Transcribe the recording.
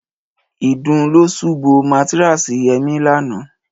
Ìdun ló ṣù bo mátáráàsì Yẹmí lánàá